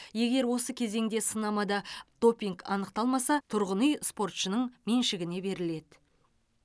егер осы кезеңде сынамада допинг анықталмаса тұрғын үй спортшының меншігіне беріледі